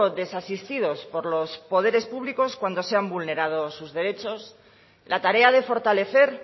desasistidos por los poderes públicos cuando se han vulnerado sus derechos la tarea de fortalecer